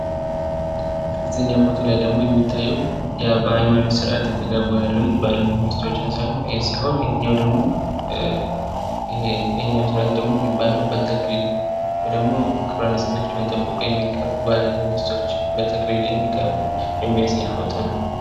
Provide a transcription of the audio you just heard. እዝህኛው ፎቶ ላይ ደግሞ የሚታየው በሀይማኖት ስርአት የሚጋቡ ባልና ሚስት ሲሆን ተግባሩ ደግሞ በ ተክሊል ክብረ ንፅህናቸውን ጠብቅው የሚጋቡ ባልና ሚስቶች በተክሊል ሲጋቡ የሚያሳይ ፎቶ ነው።